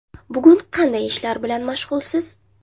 Bugun qanday ishlar bilan mashg‘ulsiz?